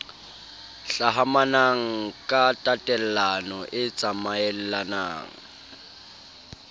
hlahamanang ka tatellano e tsamaellalang